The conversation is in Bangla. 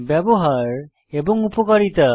ব্যবহার এবং উপকারিতা